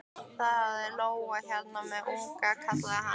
Það er lóa hérna með unga, kallaði hann.